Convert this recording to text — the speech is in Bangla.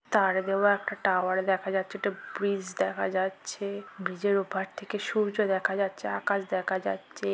তার দেওয়া একটা টাওয়ার দেখা যাচ্ছেএকটা ব্রিজ দেখা যাচ্ছে ব্রিজের ওপার থেকে সূর্য দেখা যাচ্ছে আকাশ দেখা যাচ্ছে ।